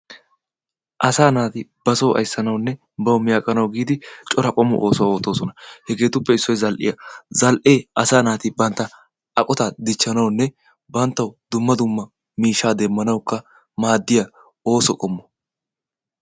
Asaa naati ba soo ayssanawunne banttawu mi aqanawu giidi cora oosuwa oottoosona. Hegeetuppe issoy zal"iya. Zal"ee asaa naati bantta aqotaa dichchanawunne banttawu dumma dumma miishshaa demmanawukka maaddiya ooso qommo.